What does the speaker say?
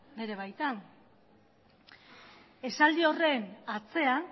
bere baitan esaldi horren atzean